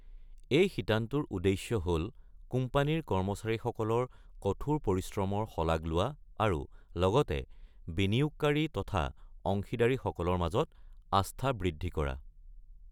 এই শিতানটোৰ উদ্দেশ্য হ’ল কোম্পানীৰ কৰ্মচাৰীসকলৰ কঠোৰ পৰিশ্ৰমৰ শলাগ লোৱা, আৰু লগতে বিনিয়োগকাৰী তথা অংশীদাৰী সকলৰ মাজত আস্থা বৃদ্ধি কৰা।